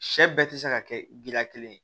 Sɛ bɛɛ tɛ se ka kɛ gila kelen ye